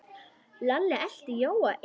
Lalli elti Jóa inn.